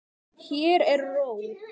Hér er ró.